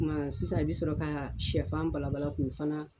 Kuma sisan i bi sɔrɔ ka sɛfan bala bala k'o fana